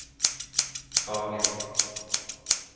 Skage